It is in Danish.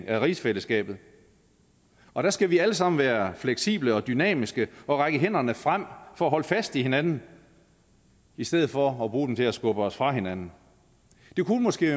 af rigsfællesskabet og der skal vi alle sammen være fleksible og dynamiske og række hænderne frem for at holde fast i hinanden i stedet for at bruge dem til at skubbe os fra hinanden det kunne måske